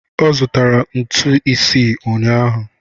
Ọ zụtara ntu isii ụnyahụ